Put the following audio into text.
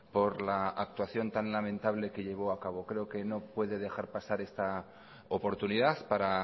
por la actuación tan lamentable que llevó a cabo creo que no puede dejar pasar esta oportunidad para